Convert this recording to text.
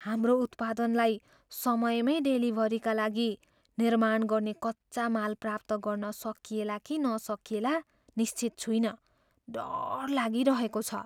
हाम्रो उत्पादनलाई समयमैँ डेलिभरीका लागि निर्माण गर्ने कच्चा माल प्राप्त गर्न सकिएला कि नसकिएला निश्चित छुइनँ। डर लागिरहेको छ।